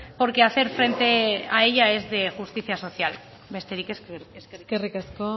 porque hacer frente a ella es de justicia social besterik ez eskerrik asko eskerrik asko